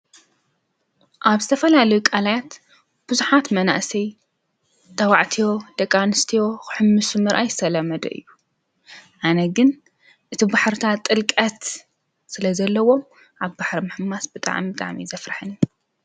መዝናነዩ ቦታ ሰባት ንምዝናንን ንምዕረፍትን ዝኸዱ ቦታ እዩ። ኣብኡ ጨዋታ፣ ምስ ተፈጥሮ ምዕራፍን ሓጎስን ይረክቡ። እዞም ቦታታት ጭንቀት ንምንካይን ጥዕና ንምሕባርን ይሕግዙ።